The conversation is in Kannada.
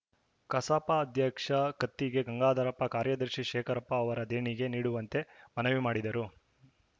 ಕಸಾಪ ಅಧ್ಯಕ್ಷ ಕತ್ತಿಗೆ ಗಂಗಾಧರಪ್ಪ ಕಾರ್ಯದರ್ಶಿ ಶೇಖರಪ್ಪ ಅವರು ದೇಣಿಗೆ ನೀಡುವಂತೆ ಮನವಿ ಮಾಡಿದರು